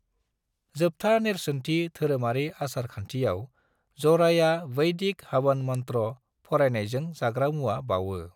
जोबथा नेरसोनथि धोरोमारि आसार खानथियाव, ज'राया वैदिक हवन मन्त्र' फरायनायजों जाग्रा मुवा बावो।